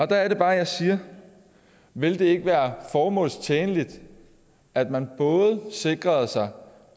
der er det bare jeg siger ville det ikke være formålstjenligt at man sikrede sig